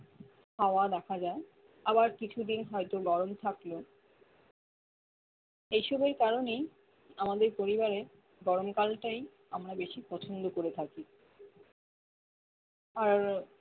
হওয়া দেখা যায় আবার কিছুদিন হয়তো গরম থাকলো এইসবের কারণে আমাদের পরিবারে গরম কালটাই আমরা বেশি পছন্দ করে থাকি আর